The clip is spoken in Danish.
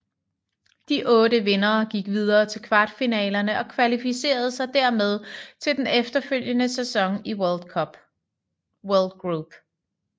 De otte vindere gik videre til kvartfinalerne og kvalificerede sig dermed til den efterfølgende sæson i World Group